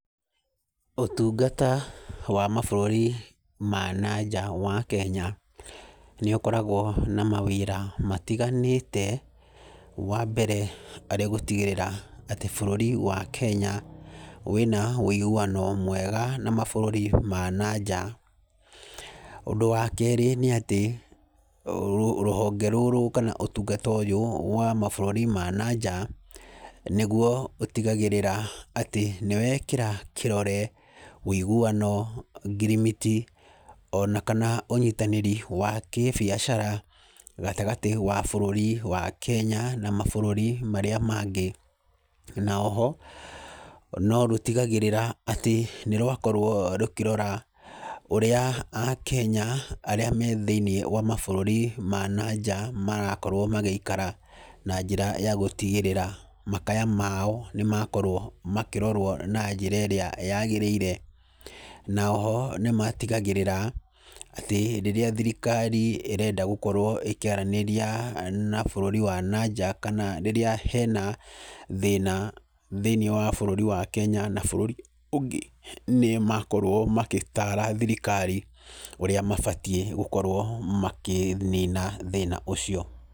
Ũtungata wa mabũrũri ma na nja wa Kenya nĩũkoragwo na mawĩra matiganĩte wambere arĩ gũtigĩrĩra atĩ bũrũri wa Kenya wĩna ũiguano mwega na mabũrũri ma na nja. Ũndũ wakerĩ nĩati rũ rũhonge rũrũ kana ũtungata ũyũ wa mabũrũri ma na nja nĩguo ũtigagĩrĩra atĩ nĩwekĩra kĩrore ũiguano, ngirimiti ona kana ũnyĩtanĩri wa kĩbiacara gatagatĩ wa bũrũri wa Kenya na mabũrũri marĩa mangĩ na oho no rũtigagĩrĩra atĩ nĩrwakorwo rũkĩrora ũrĩa akenya arĩa me thĩinĩ wa mabũrũri ma na nja marakorwo magĩikara, na njĩra ya gũtigĩrĩra makaya mao nĩmakorwo makĩrorwo na njĩra ĩrĩa yagĩrĩire, na oho nĩmatigagĩrĩra atĩ rĩrĩa thirikari ĩrenda gũkorwo ĩkĩaranĩria na bũrũri wa na nja kana rĩrĩa hena thĩna thĩinĩ wa bũrũri wa Kenya na bũrũri ũngĩ nĩmakorwo magĩtara thirikari ũrĩa mabatiĩ ni gũkorwo makĩnina thĩna ũcio.